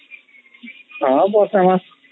ହଁ ବର୍ଷା ମାସ